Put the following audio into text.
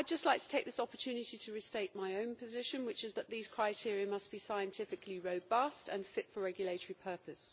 I would just like to take this opportunity to restate my own position, which is that these criteria must be scientifically robust and fit for regulatory purpose.